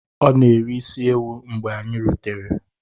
O na-eri isi ewu mgbe anyi rutere.